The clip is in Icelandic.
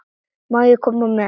Má ég koma með?